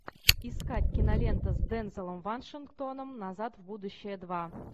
искать киноленту с дензелом вашингтоном назад в будущее два